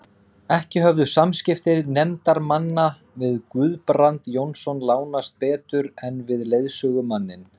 Ekki höfðu samskipti nefndarmanna við Guðbrand Jónsson lánast betur en við leiðsögumanninn.